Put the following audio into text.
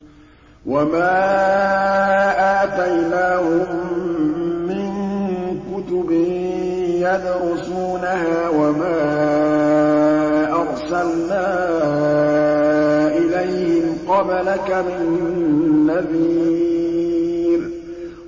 وَمَا آتَيْنَاهُم مِّن كُتُبٍ يَدْرُسُونَهَا ۖ وَمَا أَرْسَلْنَا إِلَيْهِمْ قَبْلَكَ مِن نَّذِيرٍ